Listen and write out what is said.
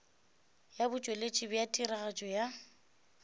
ya botšweletši bja tiragatšo ya